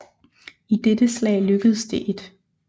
I dette slag lykkedes det 1